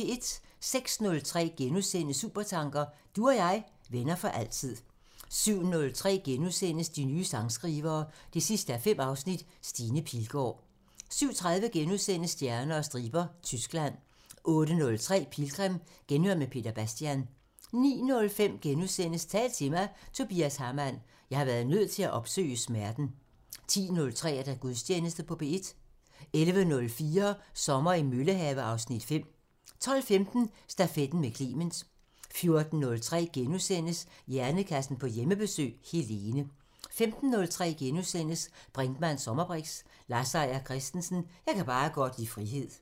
06:03: Supertanker: Du og jeg, venner for altid * 07:03: De nye sangskrivere 5:5 – Stine Pilgaard * 07:30: Stjerner og striber – Tyskland * 08:03: Pilgrim – Genhør med Peter Bastian 09:05: Tal til mig – Tobias Hamann: "Jeg har været nødt til at opsøge smerten" * 10:03: Gudstjeneste på P1 11:04: Sommer i Møllehave (Afs. 5) 12:15: Stafetten med Clement 14:03: Hjernekassen på Hjemmebesøg – Helene * 15:03: Brinkmanns sommerbriks: Lars Seier Christensen – Jeg kan bare godt lide frihed *